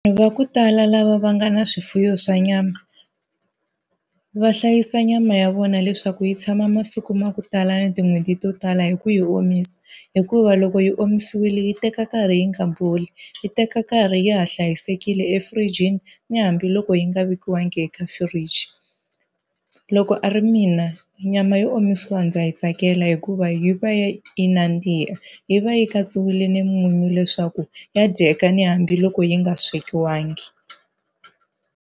va ku tala lava va nga na swifuwo swa nyama, va hlayisa nyama ya vona leswaku yi tshama masiku ma ku tala na tin'hweti to tala hi ku yi omisa hikuva loko yi omisiwile yi teka nkarhi yi nga boli, yi teka nkarhi yi ha hlayisekile efurijini, ni hambiloko yi nga vekiwanga eka fridge. Loko a ri mina nyama yo omisiwa ndza yi tsakela hikuva yi va yi yi nandziha, yi va yi katsiwile ni munyu leswaku ya dyeka ni hambiloko yi nga swekiwangi.